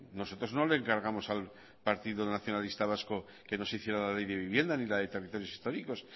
nosotros no le encargamos al partido nacionalista vasco que nos hiciera la ley de vivienda ni la de territorios históricos